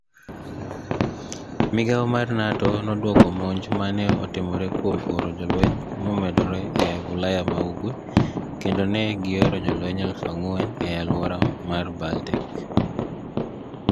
Migao mar niATO nodwoko monij ma ni e otimoreno kuom oro jolweniy momedore e Ulaya ma ugwe kenido ni e gioro jolweniy 4,000 e alwora mar Baltic.